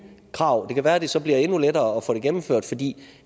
krav det kan være at det så bliver endnu lettere at få det gennemført fordi